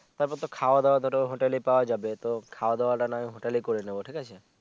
তার পরে তো খাওয়া দাওয়া তো হোটেলে পাওয়া যাবে তো খাওয়া দাওয়া টা না হয় হোটেলে করে নিবো ঠিক আছে